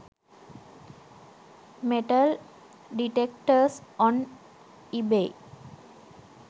metal detectors on ebay